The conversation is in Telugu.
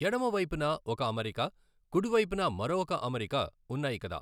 ఎడమవైపున ఒక అమరిక కుడివైపున మరొ ఒక అమరిక ఉన్నాయి కదా.